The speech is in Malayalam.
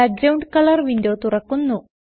ബാക്ക്ഗ്രൌണ്ട് കളർ വിൻഡോ തുറക്കുന്നു